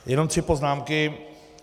Jenom tři poznámky.